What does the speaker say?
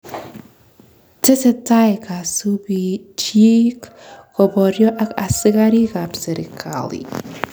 Tesetai kasubiil chiik koboryo ak askariik ab serkali